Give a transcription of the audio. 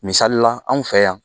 Misalila an fɛ yan